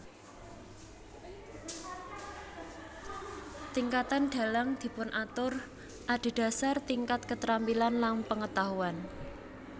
Tingkatan dalang dipunatur adhedhasar tingkat keterampilan lan pengetahuan